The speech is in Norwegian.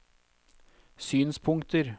synspunkter